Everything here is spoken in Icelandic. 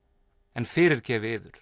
en fyrirgefi yður